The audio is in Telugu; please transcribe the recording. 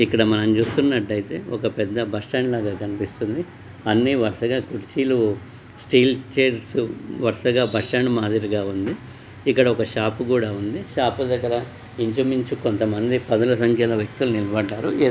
ఇక్కడ చూసుకున్నట్టయితే ఒక పెద్ద బస్ స్టాండ్ లాగా కనిపిస్తుంది. అన్ని వరుసగా కుర్చీలు స్టీల్ చైర్స్ వరుసగా బస్ స్టాండ్ మాదిరిగా ఉంది. ఇక్కడ ఒక షాప్ కూడా ఉంది. షాప్ దగ్గర ఇంచుమించు కొంతమంది పదుల సంఖ్యలో ఉన్న వ్యక్తులు నిలబడ్డారు.